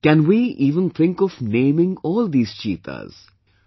Can we even think of naming all these cheetahs...